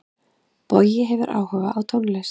Bogi hefur áhuga á tónlist.